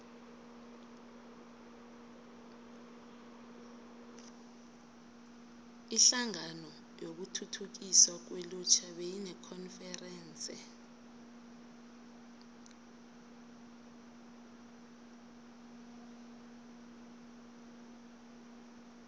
inhlangano yokuthuthukiswa kwelutjha beyinekonferense